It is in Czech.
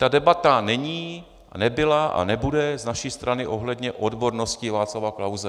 Ta debata není, nebyla a nebude z naší strany ohledně odbornosti Václava Klause.